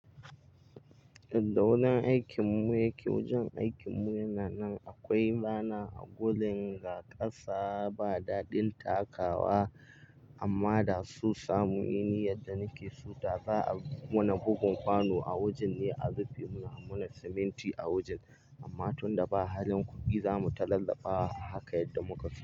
Yanda wajen aikin mu yake. Wajen aikin mu yana nan. Akwai bana a gurin ga ƙasa, ba daɗin takawa amma da so samu yamda muke so, za a muna bugun kwano a wajen ne a rufe muna, a muna siminti a wajen. Amma tunda ba halin kuɗi, za mu tallafa haka yadda muka fi.